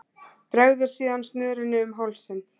Bregður síðan snörunni um hálsinn.